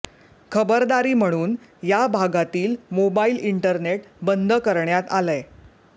खबरदारी म्हणून या भागातील मोबाईल इंटरनेट बंद करण्यात आलंय